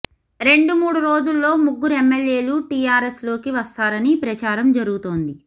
రెండుమూడు రోజుల్లో ముగ్గురు ఎమ్మెల్యేలు టీఆర్ఎస్ లోకి వస్తారని ప్రచారం జరుగుతోంది